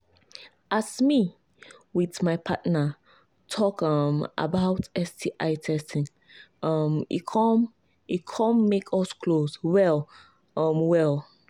as me with my partner talk um about sti testing um e come e come make us close well um well